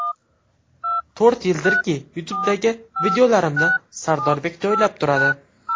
To‘rt yildirki, YouTube’dagi videolarimni Sardorbek joylab turadi.